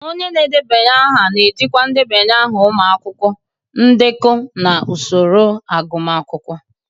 Onye na-edeba aha na-ejikwa ndebanye aha ụmụ akwụkwọ, ndekọ, na usoro agụmakwụkwọ.